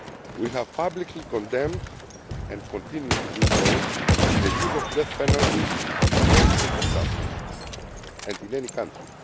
We have publicly condemned and continue to do so the use of the death penalty in any circumstances and in any country.